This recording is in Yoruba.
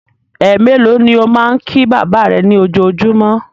Ẹ mélòó ni ó máa ń kí bàbá rẹ ní ojoojúmọ́?